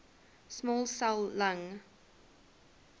small cell lung